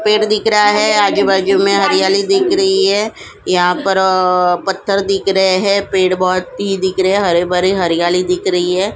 पेड़ दिख रहा है आजू बाजू में हरियाली दिख रही है यहाँ पर अ पत्थर दिख रहे है पेड़ बहुत ही दिख रहे है हरे भरे हरियाली दिख रही है।